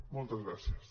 moltes gràcies